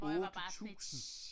8000!